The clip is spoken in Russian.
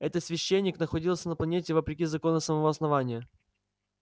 этот священник находился на планете вопреки законам самого основания